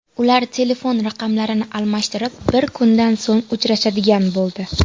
Ular telefon raqamlarini almashib, bir kundan so‘ng uchrashadigan bo‘ldi.